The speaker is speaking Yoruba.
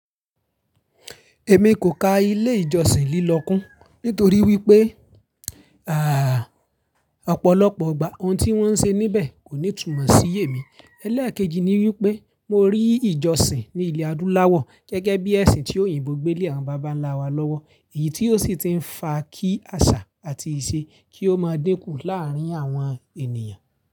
Èmi kò ka ilé ìjọsìn lílọ kún nítorí wípé àpọ̀lọ́pọ̀ ọgbà ohun tí wón ń ṣe níbẹ̀ kò ní túmọ̀ sí èmi. Ẹ̀lẹ́ẹ̀kejì ni wípé mo rí ìjọsìn ní ilẹ̀ adúláwọ̀ gẹ́gẹ́ bí ẹ̀sìn tí òyìnbó gbé lé àwọn baba ńlá wa lọ́wọ́ èyí tí ó sì ti ń fa kí àṣà àti ìṣe kí ó máa dínkù láàárín àwọn ènìyàn.